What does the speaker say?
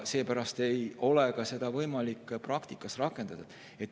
Seepärast ei ole ka võimalik seda praktikas rakendada.